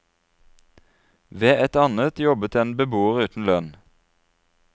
Ved et annet jobbet en beboer uten lønn.